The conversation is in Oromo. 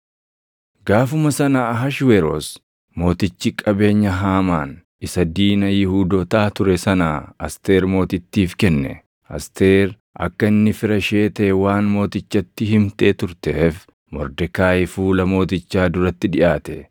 Gaafuma sana Ahashweroos Mootichi qabeenya Haamaan isa diina Yihuudootaa ture sanaa Asteer Mootittiif kenne. Asteer akka inni fira ishee taʼe waan mootichatti himtee turteef Mordekaayi fuula mootichaa duratti dhiʼaate.